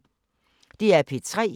DR P3